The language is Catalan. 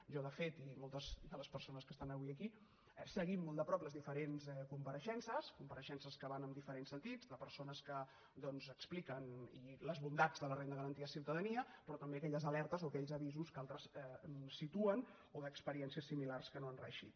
jo de fet i moltes de les persones que estan avui aquí seguim molt de prop les diferents compareixences compareixences que van en diferents sentits de persones doncs que expliquen les bondats de la renda garantida de ciutadania però també aquelles alertes o aquells avisos que altres situen o d’experiències similars que no han reeixit